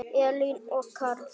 Elín og Karl.